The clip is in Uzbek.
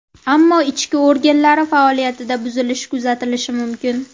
Ammo ichki organlari faoliyatida buzilish kuzatilishi mumkin.